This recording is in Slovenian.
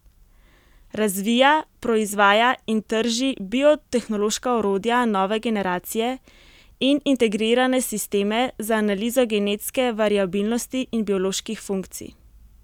Razvija, proizvaja in trži biotehnološka orodja nove generacije in integrirane sisteme za analizo genetske variabilnosti in bioloških funkcij.